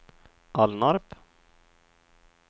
Alnarp